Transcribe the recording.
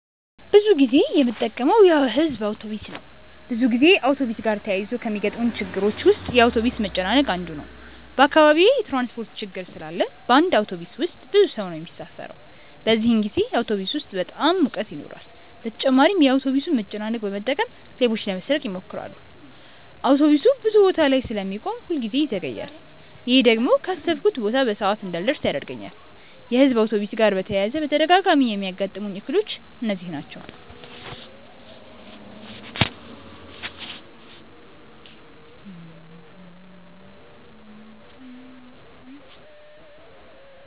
ብዙ ጊዜ የምጠቀመው የሕዝብ አውቶብስ ነው። ብዙ ጊዜ አውቶብስ ጋር ተያይዞ ከሚገጥሙኝ ችግሮች ውስጥ የአውቶብስ መጨናነቅ አንዱ ነው። በአካባቢዬ የትራንስፖርት ችግር ስላለ በአንድ አውቶብስ ውስጥ ብዙ ሰው ነው የሚሳፈረው። በዚህን ጊዜ አውቶብስ ውስጥ በጣም ሙቀት ይኖራል በተጨማሪም የአውቶብሱን መጨናነቅ በመጠቀም ሌቦች ለመስረቅ ይሞክራሉ። አውቶብሱ ብዙ ቦታ ላይ ስለሚቆም ሁል ጊዜ ይዘገያል። ይሄ ደግሞ ካሰብኩበት ቦታ በሰዓት እንዳልደርስ ያደርገኛል። የሕዝብ አውቶብስ ጋር በተያያዘ በተደጋጋሚ የሚያጋጥሙኝ እክሎች እነዚህ ናቸው።